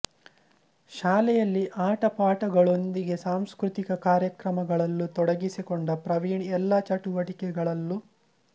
ಶಾಲೆಯಲ್ಲಿ ಆಟಪಾಠಗಳೊಂದಿಗೆ ಸಾಂಸ್ಕೃತಿಕ ಕಾರ್ಯಕ್ರಮಗಳಲ್ಲೂ ತೊಡಗಿಸಿಕೊಂಡ ಪ್ರವೀಣ್ ಎಲ್ಲಾ ಚಟುವಟಿಕೆಗಳಲ್ಲೂ